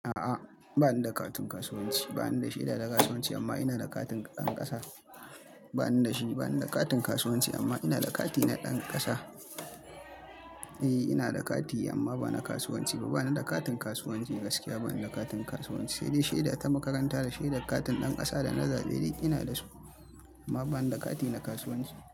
A'a, ba ni da katin kasuwanci. Ba ni da shi da na kasuwanci amma ina da katin ɗan ƙasa. Ba ni da shi, ba ni da katin kasuwanci amma ina da kati na ɗan ƙasa. Eh, ina da kati amma ba na kasuwanci ba. Ba ni da katin kasuwanci gaskiya. Ba ni da katin kasuwanci. Sai dai shaida ta makaranta da shaida katin ɗan ƙasa da na zaɓe dai ina da su amma ba ni da kati na kasuwanci.